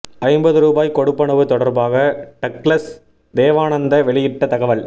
ஐம்பது ரூபாய் கொடுப்பனவு தொடர்பாக டக்ளஸ் தேவானந்தா வெளியிட்ட தகவல்